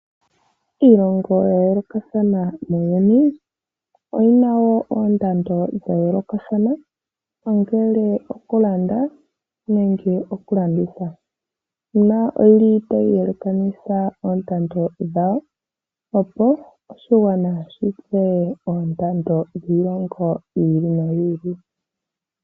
Iilongo yayoolokathana muuyuni oyi na wo oondando dha yoolokathana, ongele okulanda nenge okulanditha. Oyi li tayi yelekanitha oondando dhawo, opo oshigwana shi tseye oondando dhiilongo yi ili noyi ili.